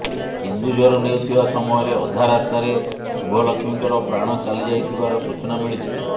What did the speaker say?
କେନ୍ଦୁଝର ନେଉଥିବା ସମୟରେ ଅଧା ରାସ୍ତାରେ ଶୁଭଲକ୍ଷ୍ମୀଙ୍କର ପ୍ରାଣ ଚାଲିଯାଇଥିବାର ସୂଚନା ମିଳିଛି